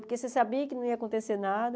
Porque você sabia que não ia acontecer nada.